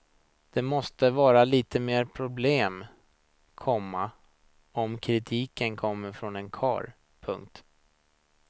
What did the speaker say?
Det måste vara litet mer problem, komma om kritiken kommer från en karl. punkt